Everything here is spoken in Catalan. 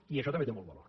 i això també té molt valor